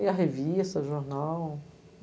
Lia revista, jornal.